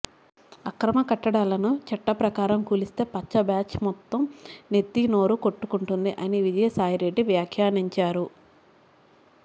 అక్రమ కట్టడాలను చట్ట ప్రకారం కూలిస్తే పచ్చ బ్యాచ్ మొత్తం నెత్తి నోరు కొట్టుకుంటుంది అని విజయసాయి రెడ్డి వ్యాఖ్యానించారు